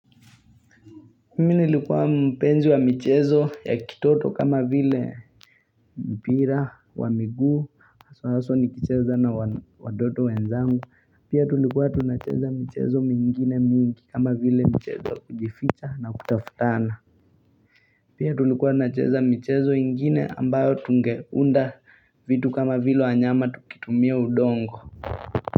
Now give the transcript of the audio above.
Mi nilikuwa mpenzi wa mchezo ya kitoto kama vile mpira wa miguu aswa aswa nikicheza na watoto wenzangu Pia tulikuwa tunacheza mchezo mingine mingi kama vile mchezo kujificha na kutafutana Pia tulikuwa tunacheza mchezo ingine ambayo tungeunda vitu kama vile wanyama tukitumia udongo.